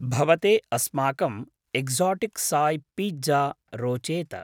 भवते अस्माकम् एक्साटिक् साय् पीत्ज़ा रोचेत।